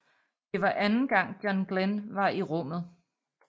Det var anden gang John Glenn var i rummet